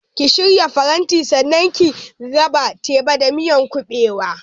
Ki shirya farantin sannan ki raba teba da miyar kuɓewa!